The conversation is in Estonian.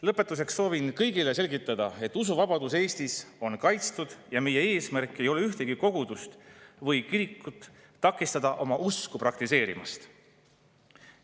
Lõpetuseks soovin kõigile selgitada, et usuvabadus Eestis on kaitstud ja meie eesmärk ei ole takistada ühtegi kogudust või kirikut oma usku praktiseerimast.